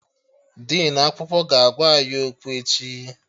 Dinu akwụkwọ ga-agwa anyị okwu echi